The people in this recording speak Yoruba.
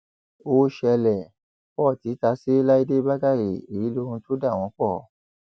ó ṣẹlẹ port ta sí láìdé bàkàrẹ èyí lohun tó dà wọn pọ